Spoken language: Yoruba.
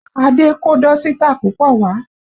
Adé kó dọ́sítà púpọ̀ wá